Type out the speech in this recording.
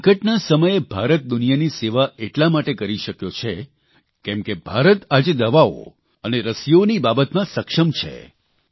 સંકટના સમયે ભારત દુનિયાની સેવા એટલા માટે કરી શક્યો છે કેમ કે ભારત આજે દવાઓ અને રસીઓની બાબતમાં સક્ષમ છે